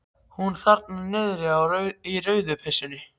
Hún þarna niðri í rauðu peysunni.